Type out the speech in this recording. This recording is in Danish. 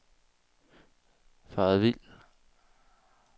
faret vild